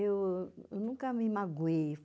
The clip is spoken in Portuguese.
Eu eu nunca me magoei.